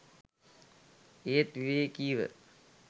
ඒත් විවේකීව